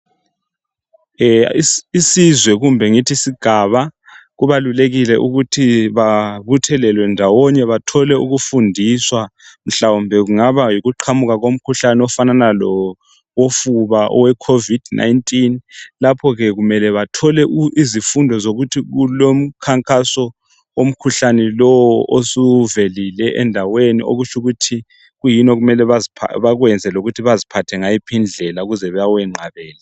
Isizwe kumbe ngithi isigaba, kubalulekile ukuthi babuthalelwe ndawonye bathole ukufundiswa. Mhlawumbe kungaba yikuqhamuka komkhuhlane ofanana lowofuba, oweCovid 19. Lapho ke bekumele bathole izifundo zokuthi kulomkhankaso womkhuhlane lowo , osuvelile endaweni. Okutsho ukuthi kuyini okumele bakwenze, lokuthi baziphathe ngayiphi indlela ukwenzela ukuthi bawenqabele.